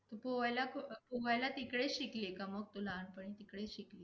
पोहायला कुट् अं पोहायला तिकडेच शिकली आहे काय, मग तू लहानपणी इकडे शिकली?